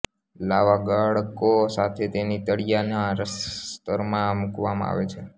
લાવા ગાળકો સાથે તેને તળીયાના સ્તરમાં મુકવામાં આવે છે